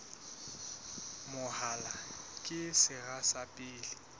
mahola ke sera sa pele